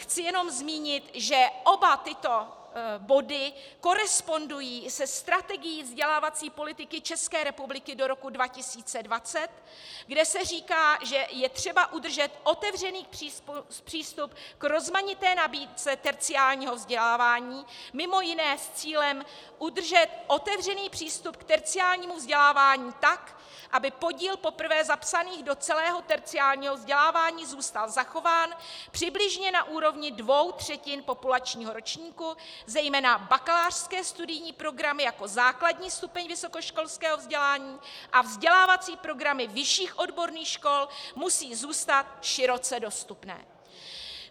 Chci jenom zmínit, že oba tyto body korespondují se strategií vzdělávací politiky České republiky do roku 2020, kde se říká, že je třeba udržet otevřený přístup k rozmanité nabídce terciárního vzdělávání, mimo jiné s cílem udržet otevřený přístup k terciárnímu vzdělávání tak, aby podíl poprvé zapsaných do celého terciárního vzdělávání zůstal zachován přibližně na úrovni dvou třetin populačního ročníku, zejména bakalářské studijní programy jako základní stupeň vysokoškolského vzdělávání a vzdělávací programy vyšších odborných škol musí zůstat široce dostupné.